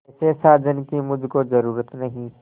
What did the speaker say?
ऐसे साजन की मुझको जरूरत नहीं